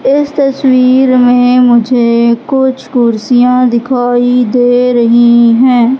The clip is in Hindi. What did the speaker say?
इस तस्वीर में मुझे कुछ कुर्सियां दिखाई दे रही है।